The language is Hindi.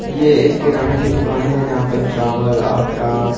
यह एक किराना की दुकान है जहां पे चावल आटा--